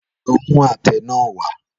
Lọ mú àtẹ náà wá!